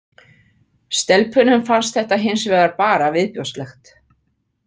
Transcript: Stelpunum fannst þetta hins vegar bara viðbjóðslegt.